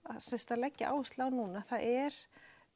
að leggja áherslu á núna það er